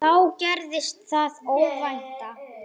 Alltof langt gengið.